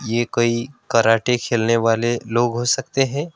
ये कोई कराटे खेलने वाले लोग हो सकते हैं।